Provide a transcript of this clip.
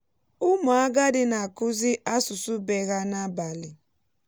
ụmụ agadi na-akụzi asụsụ be há n’abalị.